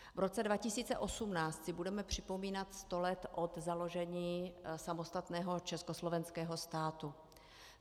V roce 2018 si budeme připomínat sto let od založení samostatného Československého státu.